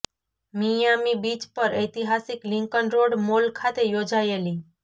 Miami Beach પર ઐતિહાસિક Lincoln Road Mall ખાતે યોજાયેલી